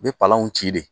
U bɛ palanw ci de